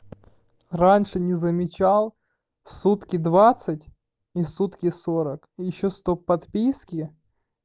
раньше не замечал в сутки двадцать и сутки сорок и ещё сто подписки